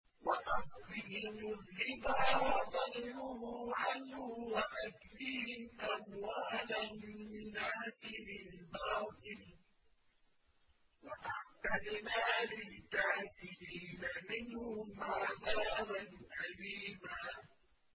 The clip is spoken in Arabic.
وَأَخْذِهِمُ الرِّبَا وَقَدْ نُهُوا عَنْهُ وَأَكْلِهِمْ أَمْوَالَ النَّاسِ بِالْبَاطِلِ ۚ وَأَعْتَدْنَا لِلْكَافِرِينَ مِنْهُمْ عَذَابًا أَلِيمًا